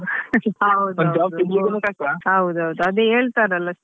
Job.